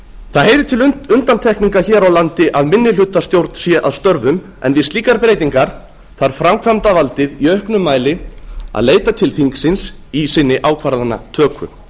það heyrir til undantekninga hér á landi að minnihlutastjórn sé að störfum en við slíkar breytingar þarf framkvæmdarvaldið í auknum mæli að leita til þingsins í sinni ákvarðanatöku